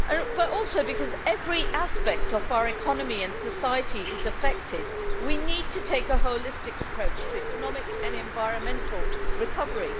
But also, because every aspect of our economy and society is affected, we need to take a holistic approach to economic and environmental recovery.